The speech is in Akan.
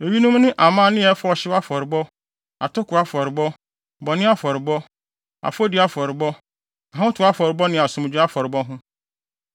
Eyinom ne amanne a ɛfa ɔhyew afɔrebɔ, atoko afɔrebɔ, bɔne afɔrebɔ, afɔdi afɔrebɔ, ahotew afɔrebɔ ne asomdwoe afɔrebɔ ho.